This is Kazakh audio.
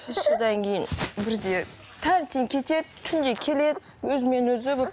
үш жылдан кейін бірде таңертең кетеді түнде келеді өзімен өзі болып